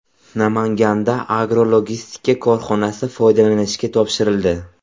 Namanganda agrologistika korxonasi foydalanishga topshirildi .